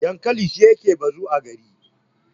dankali shi ne yake bozo a gari